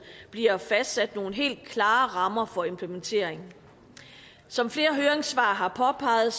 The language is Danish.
bliver fastsat nogle helt klare rammer for implementeringen som flere høringssvar har påpeget